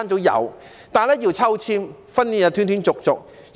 有，但是要抽籤，而且訓練是斷斷續續的。